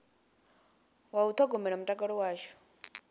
wa u ṱhogomela mutakalo washu